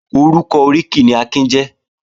Orúkọ oríkì ni Akin jẹ́